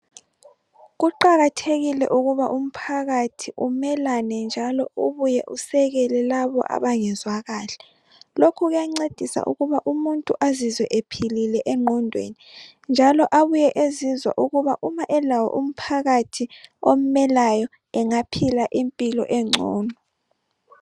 Kuqakathekile ukuba umphakathi umelane njalo ubuye usekele labo abangezwa kahle. Lokhu kuyancedisa ukuba umuntu azizwe ephilile engqondweni njalo abuye ezizwa ukuba uma elawo umphakathi omelayo, engaphila impilo engcono.